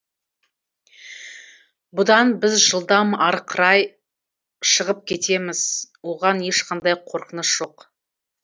бұдан біз жылдам арықырай шығып кетеміз оған ешқандай қорқыныш жоқ